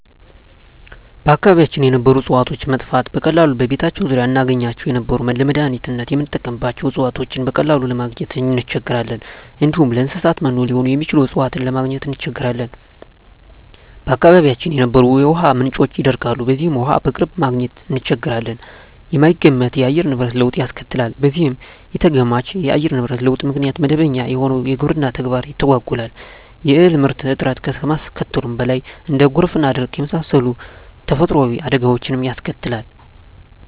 በአካባቢያችን የነበሩ እጽዋቶች መጥፋት፤ በቀላሉ በቤታችን ዙሪያ እናገኛቸው የነበሩ ለመዳኒትነት ምንጠቀምባቸው እጽዋቶችን በቀላሉ ለማግኝ እንቸገራለን፣ እንዲሁም ለእንሰሳት መኖ ሊሆኑ የሚችሉ እጽዋትን ለማግኘት እንቸገራለን፣ በአካባቢያችን የነበሩ የውሃ ምንጮች ይደርቃሉ በዚህም ውሃ በቅርብ ማግኘት እንቸገራለን፣ የማይገመት የአየር ንብረት ለውጥ ያስከትላል በዚህም ኢተገማች የአየር ንብረት ለውጥ ምክንያት መደበኛ የሆነው የግብርና ተግባር ይተጓጎላል የእህል ምርት እጥረት ከማስከተሉም በላይ እንደ ጎርፍና ድርቅ የመሳሰሉ ተፈጥሮአዊ አደጋወችንም ያስከትላል።